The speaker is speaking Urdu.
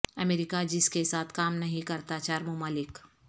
امریکہ جس کے ساتھ کام نہیں کرتا چار ممالک